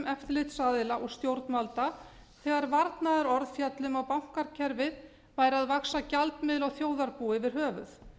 eftirlitsaðila og stjórnvalda þegar varnaðarorð féllu inn á bankakerfið væru að vaxa gjaldmiðlar á þjóðarbúið yfir höfuð